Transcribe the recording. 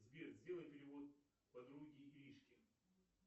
сбер сделай перевод подруге иришке